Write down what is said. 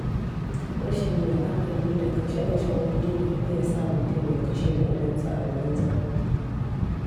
Rashin la'akari da kashe kashen Kudi na iya sa mutum ya kashe kuɗinsa a banza.